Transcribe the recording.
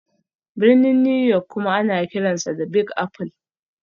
Birnin New York kuma ana kiransa 'The Big Apple'.